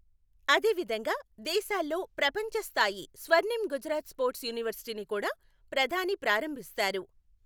అదేవిధంగా దేశాల్లో ప్రపంచస్థాయి స్వర్ణిమ్ గుజరాత్ స్పోర్ట్స్ యూనివర్సిటీని కూడా ప్రధాని ప్రారంభిస్తారు.